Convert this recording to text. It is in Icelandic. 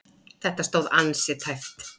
Þetta stóð ansi tæpt.